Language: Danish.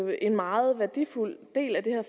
er en meget værdifuld del af det her